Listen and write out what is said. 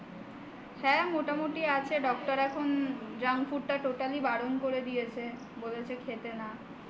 হ্যাঁ এখন মোটামুটি আছি। doctor এখন junk food totally বারণ করে দিয়েছে বলেছে খেতে না